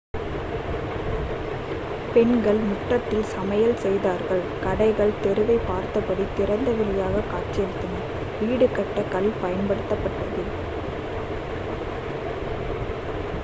பெண்கள் முற்றத்தில் சமையல் செய்தார்கள் கடைகள் தெருவைப் பார்த்தபடி திறந்தவெளியாக காட்சியளித்தன வீடு கட்ட கல் பயன்படுத்தப்பட்டது